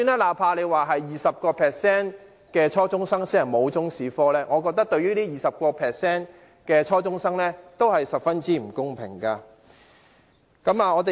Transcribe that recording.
哪怕是只有 20% 初中生沒有修讀中史科，我覺得對這 20% 的初中生而言，也是十分不公平。